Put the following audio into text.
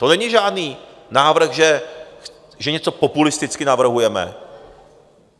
To není žádný návrh, že něco populisticky navrhujeme.